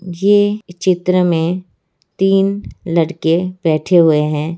ये चित्र में तीन लड़के बैठे हुए हैं।